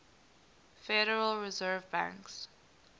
federal reserve banks